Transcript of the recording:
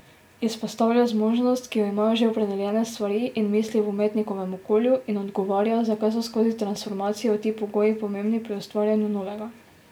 Izpostavlja zmožnost, ki jo imajo že opredeljene stvari in misli v umetnikovem okolju in odgovarja, zakaj so skozi transformacijo ti pogoji pomembni pri ustvarjanju novega.